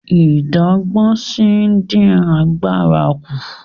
Ìdágbósí dín àgbàrá kú.